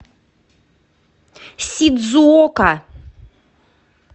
сидзуока